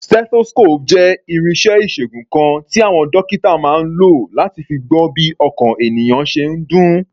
Stethoscope jẹ́ irinṣẹ́ ìṣègùn kan tí àwọn dókítà máa ń lò láti fi gbọ́ bí ọkàn ènìyàn ṣe ń dún.